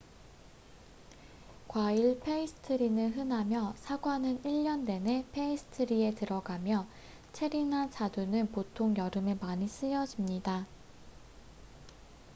과일 페이스트리는 흔하며 사과는 1년 내내 페이스트리에 들어가며 체리나 자두는 보통 여름에 많이 쓰여집니다